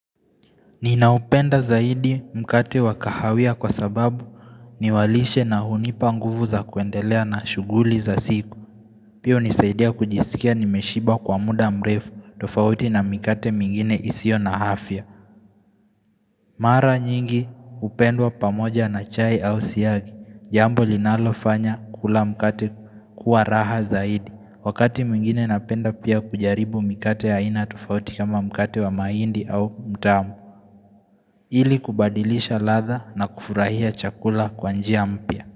Ninaupenda zaidi mkate wakahawia kwa sababu niwalishe na hunipa nguvu za kuendelea na shuguli za siku. Pia hunisaidia kujisikia nimeshiba kwa muda mrefu tofauti na mikate mingine isiyo na afya. Mara nyingi hupendwa pamoja na chai au siyagi. Jambo linalofanya kula mkate kuwa raha zaidi. Wakati mwingine napenda pia kujaribu mikate aina tofauti kama mkate wa mahindi au mtama. Ili kubadilisha ladha na kufurahia chakula kwa njia mpya.